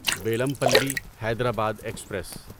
Bellampalli Hyderabad express